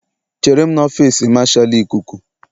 Chere m n'ọfịs Marshal ikuku